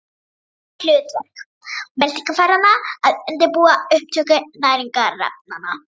Það er hlutverk meltingarfæranna að undirbúa upptöku næringarefnanna.